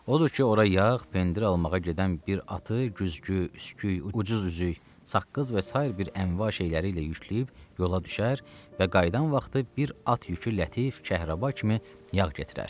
Odur ki, ora yağ, pendir almağa gedən bir atı güzgü, üsküy, ucuz üzük, saqqız və sair bir əşya şeyləri ilə yükləyib yola düşər və qayıdan vaxtı bir at yükü lətif kəhrəba kimi yağ gətirər.